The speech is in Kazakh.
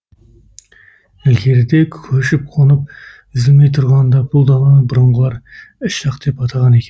ілгеріде көшіп қонып үзілмей тұрғанда бұл даланы бұрынғылар іш жақ деп атаған екен